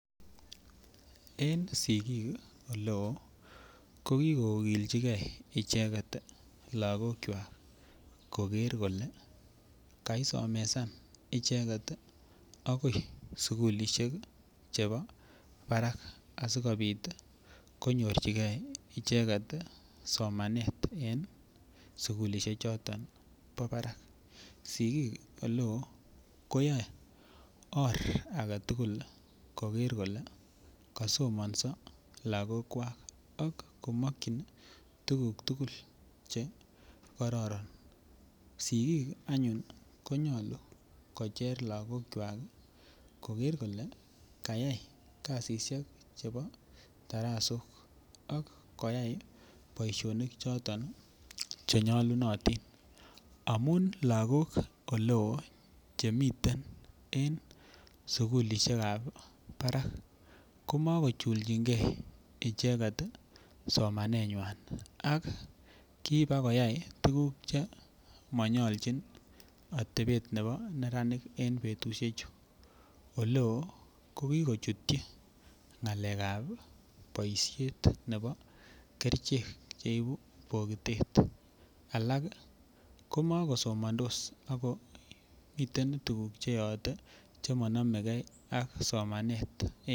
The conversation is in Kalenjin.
En sigik ole oo ko kigogywak koger kole kaisomesan icheget agoi sukulishek chebo barak asikopit konyorjigee icheget somanet en sukulishek choton bo barak sigik ole oo koyoe or agetugul koger kole kosomonso logokwak ak komwochin tuguk tugul che kororon. Sigik anyun konyoluu kocher logokwak koger kole kayay kazishek chebo darasok ak koyay boisionik choton che nyolunotin amun logok ole oo chemiten en sukulishekab barak komoko chulchigee icheget somanenywan ako kibaa koyay icheget tuguk che monyoljin otepet nebo neranik en betushechu ole oo ko kikochutyi ngalekab boishet nebo kerichek che ibuu bokitet alak ko moko somondos ako miten tuguk che yoote che monomege ak somanet